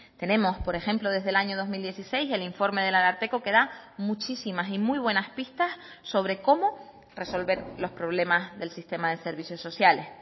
tenemos por ejemplo desde el año dos mil dieciséis el informe del ararteko que da muchísimas y muy buenas pistas sobre cómo resolver los problemas del sistema de servicios sociales